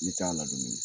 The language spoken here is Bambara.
Ne t'a ladon dɛ